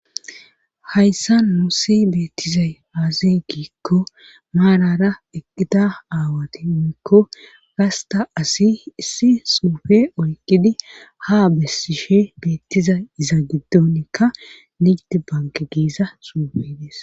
hayssa nuussi beettizay aazi giikko maarara eqqida aawati woyikko gasta asi issi suufe oyqidi ha bessishe beettiza iza giddonikka nigit banke giiza suufey des